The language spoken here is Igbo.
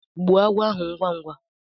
Gbuo agwọ ahu ngwá ngwá!